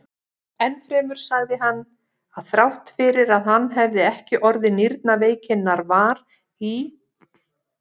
Enn fremur sagði hann, að þrátt fyrir að hann hefði ekki orðið nýrnaveikinnar var í